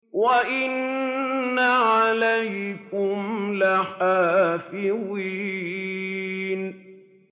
وَإِنَّ عَلَيْكُمْ لَحَافِظِينَ